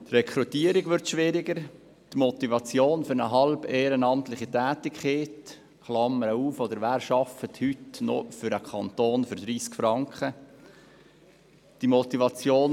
Die Rekrutierung würde schwieriger, die Motivation für eine halbehrenamtliche Tätigkeit – wer arbeitet heute noch für 30 Franken für den Kanton?